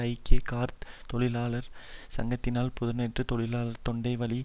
ஐக்கிய கார்த் தொழிலாளர்கள் சங்கத்தினால் புதனன்று தொழிலாளர்கள் தொண்டை வழியே